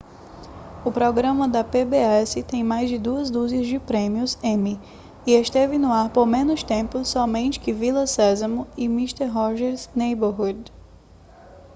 o programa da pbs tem mais de duas dúzias de prêmios emmy e esteve no ar por menos tempo somente que vila sésamo e mister rogers' neighborhood